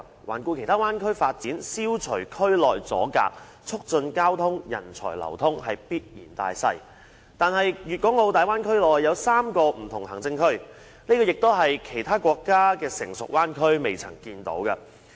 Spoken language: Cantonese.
環顧其他灣區發展，消除區內阻隔、促進交通、人才流通是必然大勢，但是大灣區內有3個不同的行政區，這也是其他國家的成熟灣區所不曾出現的。